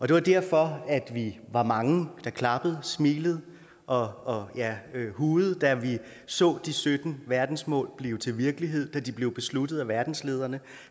det var derfor vi var mange der klappede smilede og ja hujede da vi så de sytten verdensmål blive til virkelighed da de blev besluttet af verdenslederne